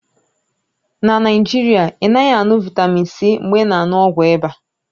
Na Naijiria, ị naghị aṅụ vịtamịn C mgbe ị na-aṅụ ọgwụ ịba